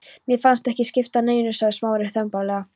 Mér fannst það ekki skipta neinu sagði Smári þumbaralega.